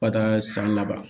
Ka taa san laban